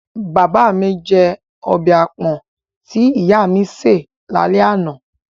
Father my jẹ ọbẹ̀ àpọ̀n tí ìyá mi ṣé è lálẹ́ àná.